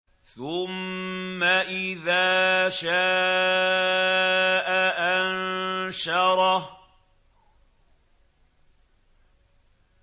ثُمَّ إِذَا شَاءَ أَنشَرَهُ